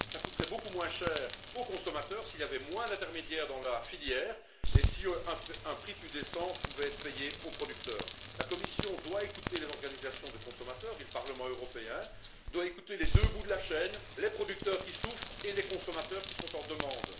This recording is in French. Cela coûterait beaucoup moins cher aux consommateurs s'il y avait moins d'intermédiaires dans la filière et si un prix plus décent pouvait être payé aux producteurs. La Commission doit écouter les organisations de consommateurs et le Parlement européen doit écouter les deux bouts de la chaîne les producteurs, qui souffrent, et les consommateurs, qui sont en demande.